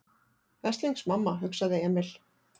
Veslings mamma, hugsaði Emil.